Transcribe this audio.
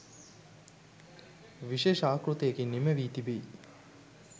විශේෂ ආකෘතියකින් නිමැවී තිබෙයි.